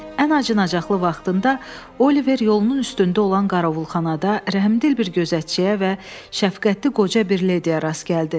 Ən acınacaqlı vaxtında Oliver yolunun üstündə olan Qaravulxanada rəhmdil bir gözətçiyə və şəfqətli qoca bir lediya rast gəldi.